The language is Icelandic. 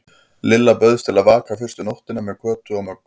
Lilla bauðst til að vaka fyrstu nóttina með Kötu og Möggu.